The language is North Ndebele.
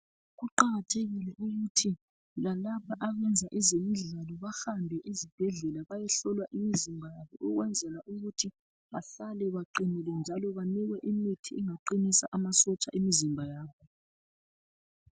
Kuqakathekile ukuthi lalaba abayenza ezemidlalo bahambe ezibhedlela bayehlolwa imizimba yabo ukwenzela ukuthi bahlale beqinile njalo benikwe imithi engaqinisa amasotsha emizimba yabo.